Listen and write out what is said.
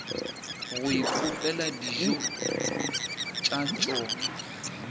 go ipopela dijo tša tšona